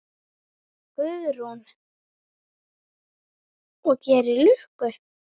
Guðrún: Og gerir lukku?